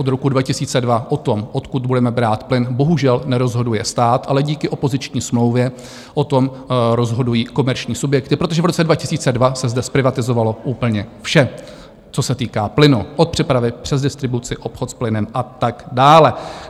Od roku 2002 o tom, odkud budeme brát plyn, bohužel nerozhoduje stát, ale díky opoziční smlouvě o tom rozhodují komerční subjekty, protože v roce 2002 se zde zprivatizovalo úplně vše, co se týká plynu, od přepravy přes distribuci, obchod s plynem a tak dále.